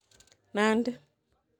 Nandi